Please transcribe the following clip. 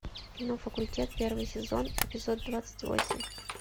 кино факультет первый сезон эпизод двадцать восемь